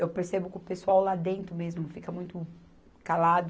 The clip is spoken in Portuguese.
eu percebo que o pessoal lá dentro mesmo fica muito calado.